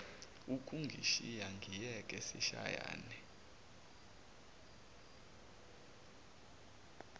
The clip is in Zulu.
ukungishisa ngiyeke sishayane